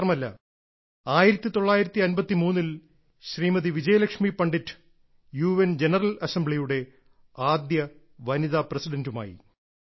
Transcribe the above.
ഇത് മാത്രമല്ല 1953 ൽ Shrimati Vijayalakshmi Pandit U N general അസംബ്ലിയുടെ ആദ്യ വനിതാ പ്രസിഡന്റുമായി